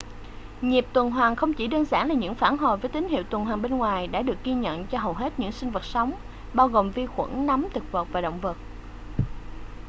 nhịp tuần hoàn không chỉ đơn giản là những phản hồi với tín hiệu tuần hoàn bên ngoài đã được ghi nhận cho hầu hết những sinh vật sống bao gồm vi khuẩn nấm thực vật và động vật